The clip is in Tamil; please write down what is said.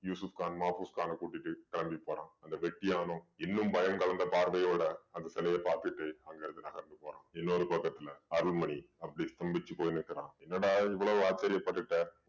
யூசுஃப் கான் மாஃபூஸ் கான கூட்டிட்டு கிளம்பி போறான். அந்த வெட்டியானும் இன்னும் பயம் கலந்த பார்வையோட அந்த சிலைய பாத்துட்டு அங்கிருந்து நகர்ந்து போறான். இன்னொரு பக்கத்துல அருள் மணி அப்படியே ஸ்தம்பிச்சு போயி நிக்கறான். என்னடா இவ்வளவு ஆச்சசர்யப்பட்டுட்ட